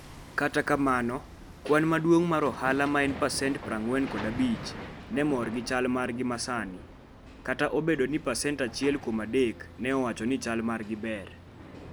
Kata kamano, kwan maduong' mar ohala, ma en pasent 45, ne mor gi chal margi masani, kata obedo ni pasent achiel kuom adek ne owacho ni chal margi ber.